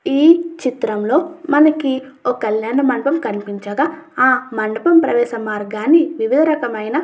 ఈ చిత్రంలో మనకి ఓ కళ్యాణ మండపం కనిపించగా ఆ మండపం ప్రవేశం మార్గాన్ని ఏదో రకమైన --